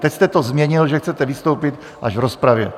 Teď jste to změnil, že chcete vystoupit až v rozpravě.